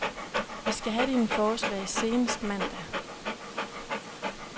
Vi skal have dine forslag senest mandag.